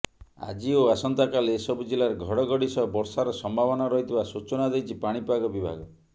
ଆଜି ଓ ଆସନ୍ତାକାଲି ଏସବୁ ଜିଲ୍ଲାରେ ଘଡ଼ଘଡ଼ି ସହ ବର୍ଷାର ସମ୍ଭାବନା ରହିଥିବା ସୂଚନା ଦେଇଛି ପାଣିପାଗ ବିଭାଗ